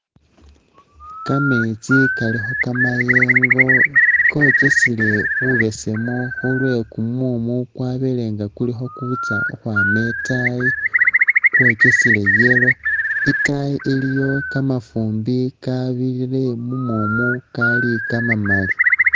Kameetsi kalikho kamayengo kokesele bubesemu khulwekumumu kwabele nga kuli khokwitsa khukhwama itaayi kwokesele yellow, itaayi iliyo kamafumbi karurire mumumu kali kamamali.